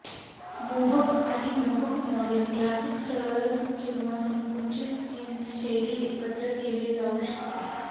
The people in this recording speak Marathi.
मोहक आणि मोहक मॉडेल क्लासिक सरळ किंवा संकुचित जीन्स शैली एकत्र केली जाऊ शकते